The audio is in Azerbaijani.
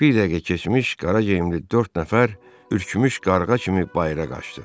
Bir dəqiqə keçmiş qara geyimli dörd nəfər ürkmüş qarğa kimi bayıra qaçdı.